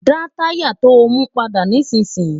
dá táyà to mú padà nísìn yìí!